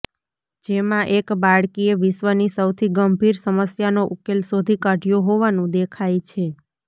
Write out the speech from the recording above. જેમાં એક બાળકીએ વિશ્વની સૌથી ગંભીર સમસ્યાનો ઉકેલ શોધી કાઢ્યો હોવાનું દેખાય છે